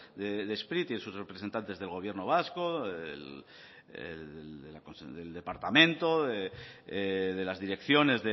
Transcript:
de spri tiene sus representantes del gobierno vasco el departamento de las direcciones